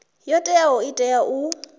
yo teaho i tea u